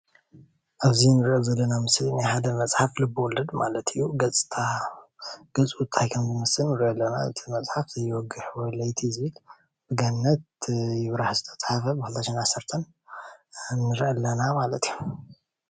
ኣብዚ እንርእዮ ዘለና ምስሊ ናይ ሓደ መፅሓፍ ልበወለድ ማለት እዩ። ገፁ ታይ ከም ዝምስል እንርእዮ ኣለና ። እቲ መፅሓፍ ዘይወግሕ ለይቲ እዩ ዝብል ብገነት ይብራህ ዝተፃሓፈ ብ2010 ንርኢ ኣለና ማለት እዩ።